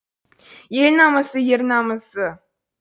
ел намысы ер намысы